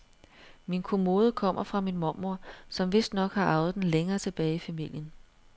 Min kommode kommer fra min mormor, som vistnok har arvet den længere tilbage i familien.